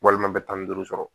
Walima bɛ tan ni duuru sɔrɔ